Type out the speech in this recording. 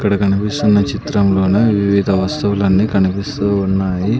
ఇక్కడ కనిపిస్తున్న చిత్రంలోన వివిధ వస్తువులన్నీ కనిపిస్తూ ఉన్నాయి.